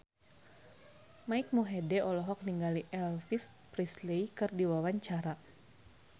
Mike Mohede olohok ningali Elvis Presley keur diwawancara